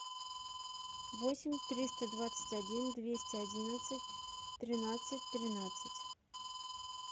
восемь триста двадцать один двести одиннадцать тринадцать тринадцать